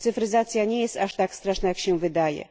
Cyfryzacja nie jest aż tak straszna, jak się wydaje.